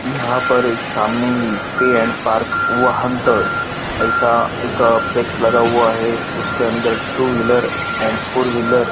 यहा पर एक सामने ही पे एड पार्क वहानतळ ऐसा एक प्लेक्स लगा हुआ है उसके अंदर two wheeler and four wheeler --